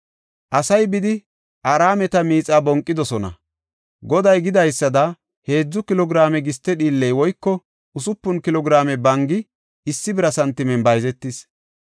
Asay bidi, Araameta miixaa bonqidosona. Goday gidaysada heedzu kilo giraame giste dhiilley woyko usupun kilo giraame bangi issi bira santimen bayzetis.